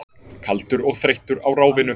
Kaldur og þreyttur á ráfinu.